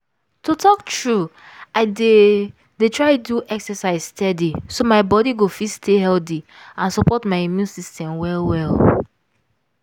to talk true i dey dey try do exercise steady so my body go fit stay healthy and support my immune system well well